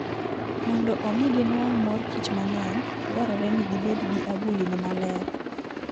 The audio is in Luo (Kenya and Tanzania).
Mondo omi ginwang' mor kich mang'eny, dwarore ni gibed gi agulini maler.